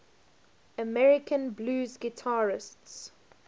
american blues guitarists